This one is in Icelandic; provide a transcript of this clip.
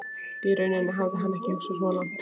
Í rauninni hafði hann ekki hugsað svo langt.